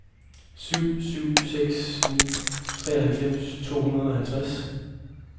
syv syv seks ni treoghalvfems to hundrede og halvtreds